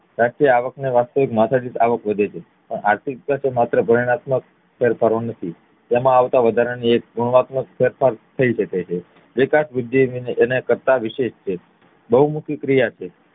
સાથે આવક ને માથાદીઠ આવક વધે છે પણ આર્થિક વિકાસ એ ગુણવત્મ્ક ફેરફારો નથી તેમાં આવતો એક વધારાનો ગુણવાત્મક ફેરફાર થઇ શકે છે વિકાસ વૃદ્ધિ કરતા વિશેસ છે બવ મોટી ક્રિયા છે